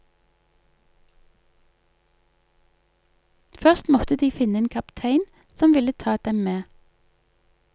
Først måtte de finne en kaptein som ville ta dem med.